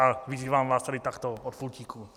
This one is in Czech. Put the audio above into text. A vyzývám vás tady takto od pultíku.